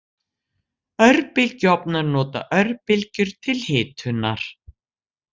Örbylgjuofnar nota örbylgjur til hitunar.